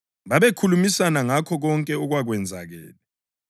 Babekhulumisana ngakho konke okwakwenzakele.